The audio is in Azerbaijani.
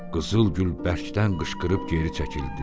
Qızıl Gül bərkdən qışqırıb geri çəkildi.